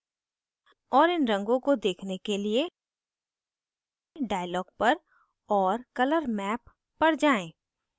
और इन रंगों को देखने के लिए dialog पर और colormap पर जाएँ